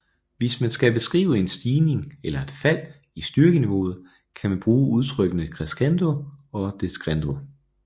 Hvis man skal beskrive en stigning eller et fald i styrkeniveauet kan man bruge udtrykkene crescendo og decrescendo